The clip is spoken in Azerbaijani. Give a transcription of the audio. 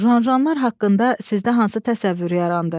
Juanjanlar haqqında sizdə hansı təsəvvür yarandı?